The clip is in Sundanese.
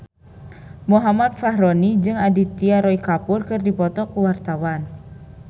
Muhammad Fachroni jeung Aditya Roy Kapoor keur dipoto ku wartawan